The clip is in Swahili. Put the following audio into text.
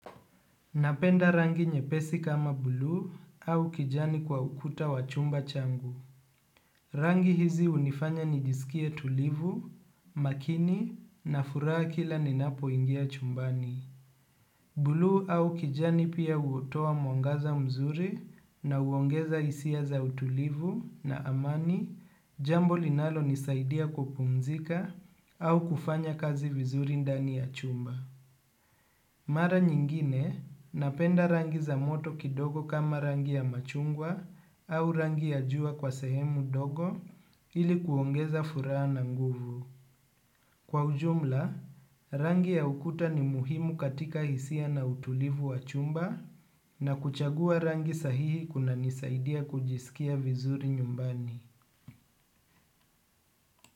Napenda rangi nyepesi kama bluu au kijani kwa ukuta wa chumba changu. Rangi hizi hunifanya nijisikie tulivu, makini na furaha kila ninapo ingia chumbani. Bulu au kijani pia hutoa mwangaza mzuri na huongeza hisia za utulivu na amani jambo linalonisaidia kupumzika au kufanya kazi vizuri ndani ya chumba. Mara nyingine napenda rangi za moto kidogo kama rangi ya chungwa au rangi ya jua kwa sehemu kidogo ili kuongeza furaha zaidi. Kwa ujumla, rangi ya ukuta ni muhimu katika hisia na utulivu wa chumba na kuchagua rangi sahihi kunanisaidia kujisikia vizuri nyumbani.